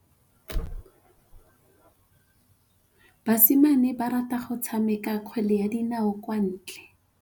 Basimane ba rata go tshameka kgwele ya dinaô kwa ntle.